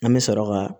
An bɛ sɔrɔ ka